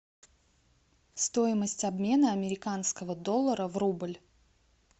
стоимость обмена американского доллара в рубль